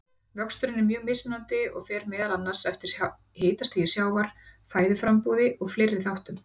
Vöxturinn er mjög mismunandi og fer meðal annars eftir hitastigi sjávar, fæðuframboði og fleiri þáttum.